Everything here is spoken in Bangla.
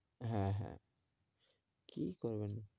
হ্যাঁ, হ্যাঁ কি করবেন?